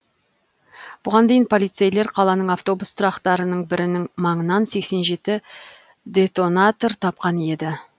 бұған дейін полицейлер қаланың автобус тұрақтарының бірінің маңынан сексен жеті детонатор тапқан еді